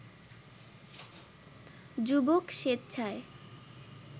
যুবক স্বেচ্ছায়